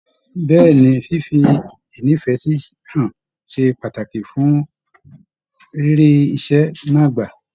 Bẹ̀ẹ́ni, fífi ínífẹsí hàn ṣe pàtàkì fún rírí iṣẹ náà gbà.